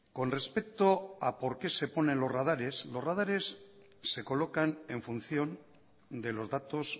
con respecto a por qué se ponen los radares los radares se colocan en función de los datos